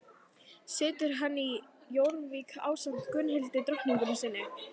Situr hann í Jórvík ásamt Gunnhildi drottningu sinni.